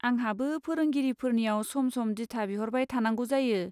आंहाबो फोरोंगिरिफोरनियाव सम सम दिथा बिहरबाय थांनांगौ जायो।